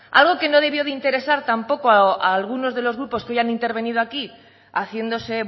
algo que no debió de interesar tampoco a alguno de los grupos que hoy han intervenido aquí haciéndose